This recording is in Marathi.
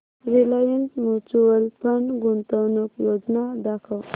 रिलायन्स म्यूचुअल फंड गुंतवणूक योजना दाखव